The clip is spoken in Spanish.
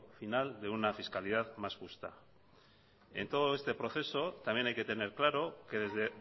final de una fiscalidad más justa en todo este proceso también hay que tener claro que desde